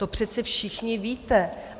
To přece všichni víte.